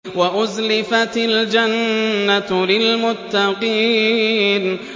وَأُزْلِفَتِ الْجَنَّةُ لِلْمُتَّقِينَ